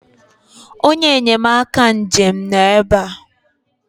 onye enyemaka njem nọ ebe a